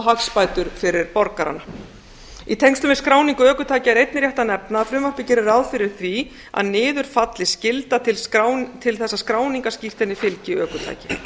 hagsbætur fyrir borgarana í tengslum við skráningu ökutækja er einnig rétt að nefna að frumvarpið gerir ráð fyrir því að niður falli skylda til þess að skráningarskírteini fylgi ökutæki